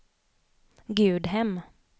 Gudhem